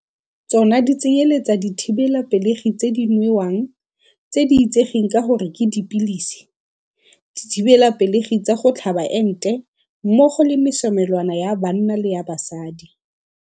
Tsona di tsenyeletsa dithibelapelegi tse di nwewang, tse di itsegeng ka gore ke dipilisi, dithibelapelegi tsa go tlhaba ente, mmogo le mesomelwana ya banna le ya basadi.